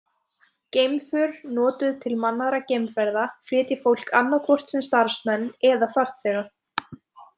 Geimför notuð til mannaðra geimferða flytja fólk annaðhvort sem starfsmenn eða farþega.